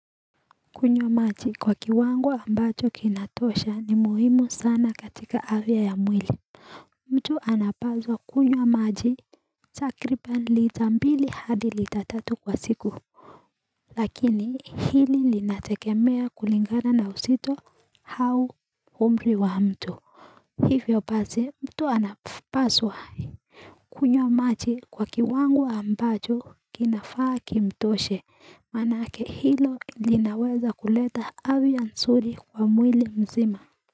Kunywa maji kwa kiwango ambacho kinatosha ni muhimu sana katika afya ya mwili mtu anapaswa kunywa maji takriban lita mbili hadi lita tatu kwa siku Lakini hili linategemea kulingana na uzito hau umri wa mtu Hivyo base mtu anapaswa kunywa maji kwa kiwango ambacho kinafaa kimtoshe manake hilo linaweza kuleta afya nzuri kwa mwili mzima.